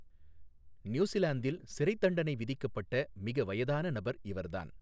நியூசிலாந்தில் சிறைத்தண்டனை விதிக்கப்பட்ட மிக வயதான நபர் இவர்தான்.